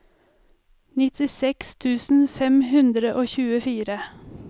nittiseks tusen fem hundre og tjuefire